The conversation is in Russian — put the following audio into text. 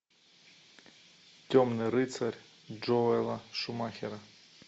темный рыцарь джоэла шумахера